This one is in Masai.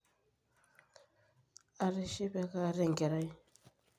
atishipe kaata enkerai